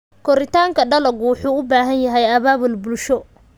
Koritaanka dalaggu wuxuu u baahan yahay abaabul bulsho.